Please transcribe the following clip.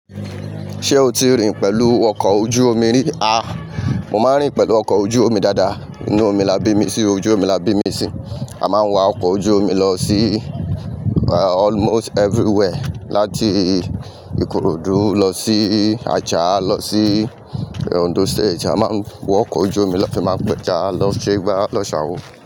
Ṣé o ti rìn pẹ̀lú ọkọ̀ ojú omi rí? A! Mo máa ń rìn pẹ̀lú ọkọ̀ ojú omi dáadáa. Inú omi là bí mi sí ojú omi là bí mi sí. A máa ń wa ọkọ̀ ojú omi lọ sí almost everywhere. Láti Ikorodu lọ sí Acha lọ sí Ondo State. A máa ń wọ ọkọ̀ ojú omi lati Mapẹta, lọ ṣe igba, lọ ṣe Awo.